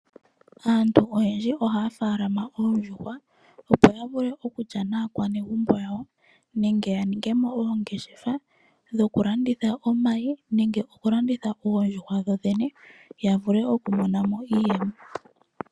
Aantu oyendji ohaya munu oondjuhwa opo ya vule okulya naakwanegumbo yawo nenge ya ninge mo oongeshefa dhokulandithila omayi nenge okulanditha oondjuhwa dho dhene ya vule okumona mo iiyemo.